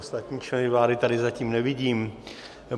Ostatní členy vlády tady zatím nevidím.